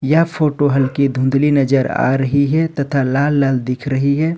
यह फोटो हल्की धुंधली नजर आ रही है तथा लाल लाल दिख रही है।